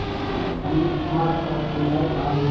इ इ डी मार्ट का सीन है जहाँ लोग --